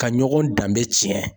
Ka ɲɔgɔn danbe tiɲɛ